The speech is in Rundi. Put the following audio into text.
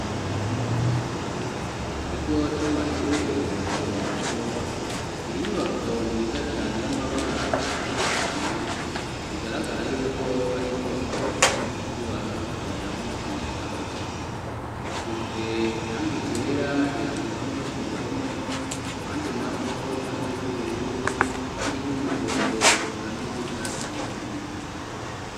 Mu kigo c'amashure mato mato ni inyubako nziza cane y'amabara atandukanye bigaragara yuko ari inyubako abanyeshuri baza gusomeramwo ibitabo ifise iranga ryera hejuru hamwe no ku ruhome handi na ho irange ry'ubururu irange ry'umuhondo ekani y'igicatsi kibisi.